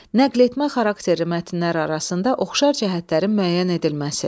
Nəqletmə xarakterli mətnlər arasında oxşar cəhətlərin müəyyən edilməsi.